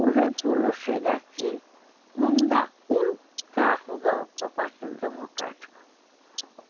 O Getúlio chega aqui, não dá um cargo para o Partido Democrático.